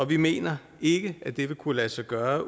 vi mener ikke at det vil kunne lade sig gøre